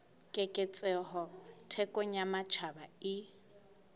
keketseho thekong ya matjhaba e